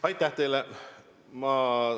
Aitäh teile!